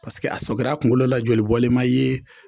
Paseke a sɔkir'a kunkolo la joli bɔlen ma ye,